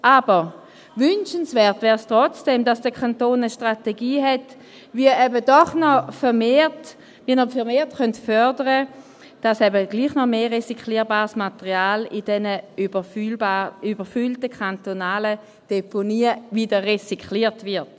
Aber wünschenswert wäre es trotzdem, dass der Kanton eine Strategie hätte, wie man vermehrt fördern könnte, dass eben doch noch mehr recycelbares Material in diesen überfüllten kantonalen Deponien wieder recycelt wird.